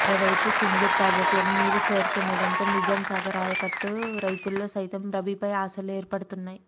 మరోవైపు సింగూరు ప్రాజెక్టులోకి నీరు చేరుతుండడంతో నిజాంసాగర్ ఆయకట్టు రైతుల్లో సైతం రబీపై ఆశలు ఏర్పడుతున్నాయి